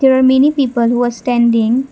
there are many people who are standing.